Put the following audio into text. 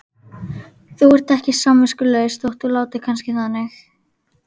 Þú ert ekki samviskulaus þótt þú látir kannski þannig.